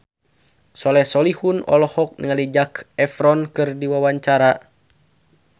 Soleh Solihun olohok ningali Zac Efron keur diwawancara